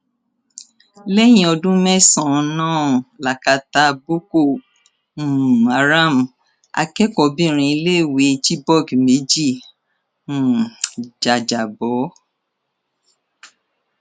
lẹyìn ọdún mẹsànán lákátá boko um haram akẹkọọbìnrin iléèwé chibok méjì um jájábọ